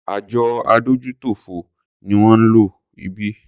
Àjọ adójútòfò ni wón ń lọ ibí.